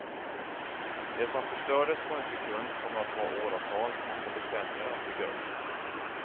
Det som förstördes på en sekund kommer att ta åratal, kanske decennier att bygga upp.